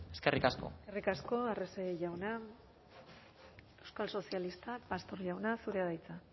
eskerrik asko eskerrik asko arrese jauna euskal sozialistak pastor jauna zurea da hitza